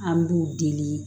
An b'u deli